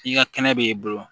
I ka kɛnɛ b'i bolo